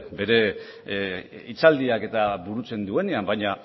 bere hitzaldiak burutzenduenean baina